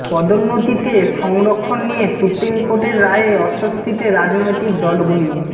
পদোন্নতিতে সংরক্ষণ নিয়ে সুপ্রিম কোর্টের রায়ে অস্বস্তিতে রাজনৈতিক দলগুলি